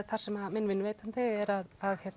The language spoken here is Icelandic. þar sem minn vinnuveitandi er að